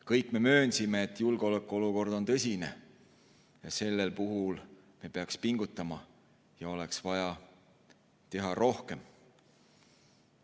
Kõik me möönsime, et julgeolekuolukord on tõsine, me peaksime pingutama ja oleks vaja teha rohkem.